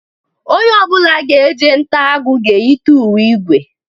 Onye ọ bụla ga-eje nta agụ, ga-eyite uwe igwe.